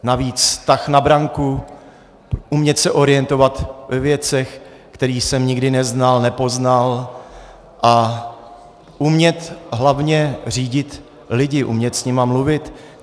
Navíc tah na branku, umět se orientovat ve věcech, které jsem nikdy neznal, nepoznal, a umět hlavně řídit lidi, umět s nimi mluvit.